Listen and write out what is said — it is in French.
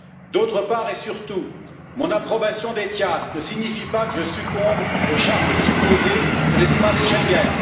D'autre part, et surtout, mon approbation d'ETIAS ne signifie pas que je succombe au charme supposé de l'espace Schengen.